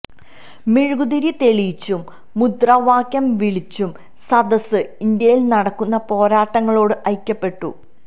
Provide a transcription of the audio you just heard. മെഴുകുതിരി തെളിയിച്ചും മുദ്രാവാക്യം വിളിച്ചും സദസ്സ് ഇന്ത്യയില് നടക്കുന്ന പോരാട്ടങ്ങളോട് ഐക്യപ്പെട്ടു